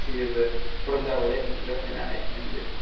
себебі бұрындары ойлайтынмын жоқ мен ән айтпаймын деп